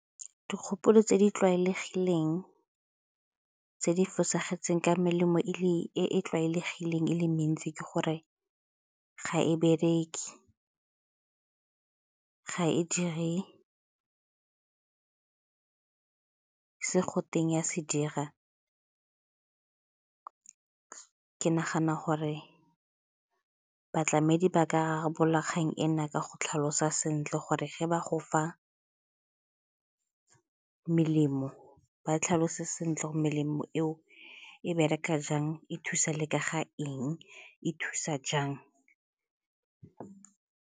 Dikgopolo tse di tlwaelegileng tse di fosagetseng ka melemo e e tlwaelegileng e le mentsi ke gore ga e bereke, ga e dire se go teng e a se dira. Ke nagana gore batlamedi ba ka rarabolola kgang ena ka go tlhalosa sentle gore ge ba go fa melemo ba tlhalose sentle go melemo eo e bereka jang, e thusa leka ga eng, e thusa jang.